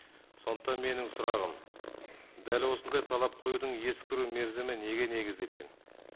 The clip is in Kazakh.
сондықтан менің сұрағым дәл осындай талап қоюдың ескіру мерзімі неге негізделген